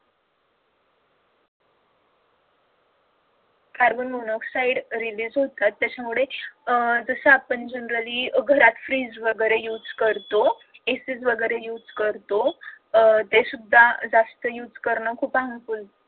carbon monoxide release होत त्यामुळे अह जसं आपण generally घरात freeze वगैरे use करतो AC वगैरे use करतो अह ते सुद्धा जास्त use कारण खूप harmfull